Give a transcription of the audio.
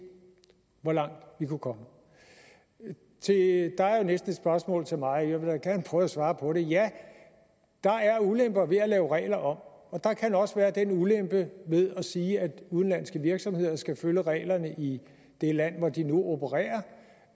hvor langt vi kunne komme der er jo næsten et spørgsmål til mig og jeg vil da gerne prøve at svare på det ja der er ulemper ved at lave regler om og der kan også være den ulempe ved at sige at udenlandske virksomheder skal følge reglerne i det land hvor de nu opererer